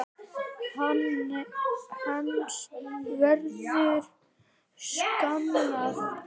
Hans verður saknað.